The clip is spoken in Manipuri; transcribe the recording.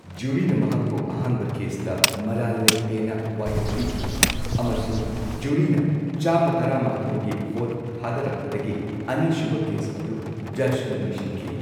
ꯖꯨꯔꯤꯅ ꯃꯍꯥꯛꯄꯨ ꯑꯍꯥꯟꯕ ꯀꯦꯁꯇ ꯃꯔꯥꯜ ꯂꯩꯇꯦꯅ ꯋꯥꯌꯦꯜ ꯄꯤꯈꯤ, ꯑꯃꯁꯨꯡ ꯖꯨꯔꯤꯅꯥ ꯆꯥꯝꯃ ꯇꯔꯥꯃꯥꯊꯣꯏꯒꯤ ꯚꯣꯠ ꯊꯥꯗꯔꯛꯄꯗꯒꯤ ꯑꯅꯤꯁꯨꯕ ꯀꯦꯁ ꯑꯗꯨ ꯖꯖꯅ ꯂꯣꯢꯁꯤꯟꯈꯤ꯫